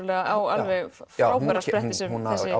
á frábæra spretti sem